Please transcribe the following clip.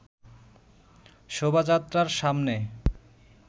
শোভাযাত্রার সামনে